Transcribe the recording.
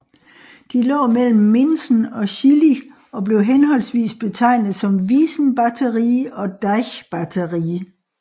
De lå mellem Minsen og Schillig og blev henholdsvis betegnet som Wiesenbatterie og Deichbatterie